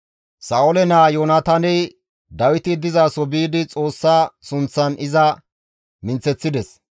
Sa7oole naa Yoonataaney Dawiti dizaso biidi Xoossa sunththan iza minththeththides.